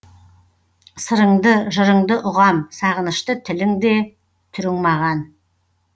сырыңды жырыңды ұғам сағынышты тілің де түрің маған